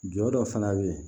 Jɔ dɔ fana bɛ yen